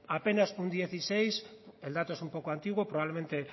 apenas un dieciséis el dato es un poco antiguo probablemente el